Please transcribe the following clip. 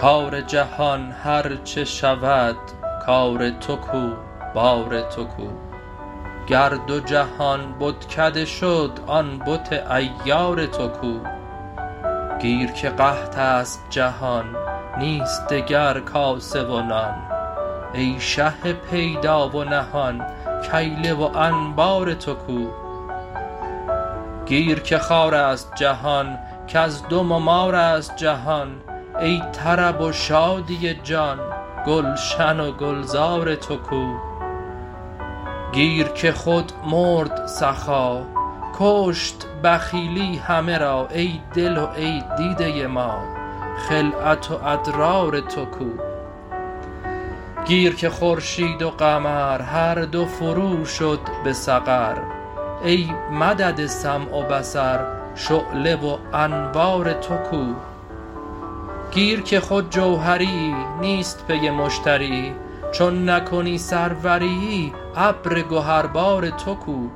کار جهان هر چه شود کار تو کو بار تو کو گر دو جهان بتکده شد آن بت عیار تو کو گیر که قحط است جهان نیست دگر کاسه و نان ای شه پیدا و نهان کیله و انبار تو کو گیر که خار است جهان گزدم و مار است جهان ای طرب و شادی جان گلشن و گلزار تو کو گیر که خود مرد سخا کشت بخیلی همه را ای دل و ای دیده ما خلعت و ادرار تو کو گیر که خورشید و قمر هر دو فروشد به سقر ای مدد سمع و بصر شعله و انوار تو کو گیر که خود جوهریی نیست پی مشتریی چون نکنی سروریی ابر گهربار تو کو